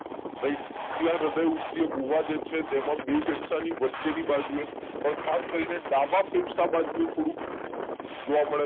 right ત્યાં હૃદયઉસ્ય ગુહા જે છે તેમાં બે ફેફસા ની વચ્ચેની બાજુએ અંદ ખાસ કરીને ડાબા ફેફસા બાજુએ થોડું જોવા મળે છે